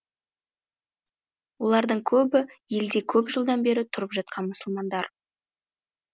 олардың көбі елде көп жылдан бері тұрып жатқан мұсылмандар